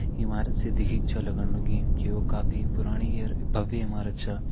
ईमारत से दिखिक छ लगण लगीं की वो काफी पुराणी और भव्य ईमारत चा।